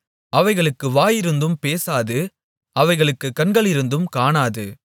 அவைகளுக்கு வாயிருந்தும் பேசாது அவைகளுக்குக் கண்களிருந்தும் காணாது